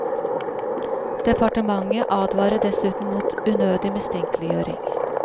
Departementet advarer dessuten mot unødig mistenkeliggjøring.